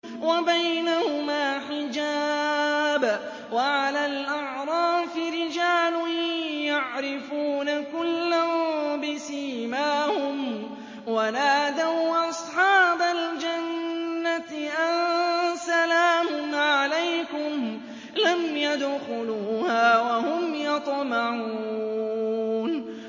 وَبَيْنَهُمَا حِجَابٌ ۚ وَعَلَى الْأَعْرَافِ رِجَالٌ يَعْرِفُونَ كُلًّا بِسِيمَاهُمْ ۚ وَنَادَوْا أَصْحَابَ الْجَنَّةِ أَن سَلَامٌ عَلَيْكُمْ ۚ لَمْ يَدْخُلُوهَا وَهُمْ يَطْمَعُونَ